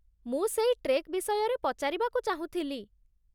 ମୁଁ ସେଇ ଟ୍ରେକ୍ ବିଷୟରେ ପଚାରିବାକୁ ଚାହୁଁଥିଲି ।